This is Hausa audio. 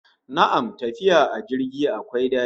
Na'am, tafiya a jirgi akwai dadi